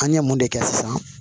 An ye mun de kɛ sisan